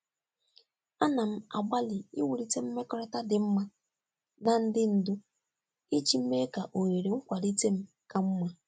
Ana m agbalị iwulite mmekọrịta dị mma na ndị ndu iji mee ka ohere nkwalite m ka mma.